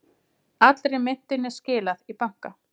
Allri myntinni skilað í banka